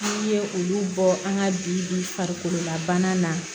N'i ye olu bɔ an ka bi farikolola bana na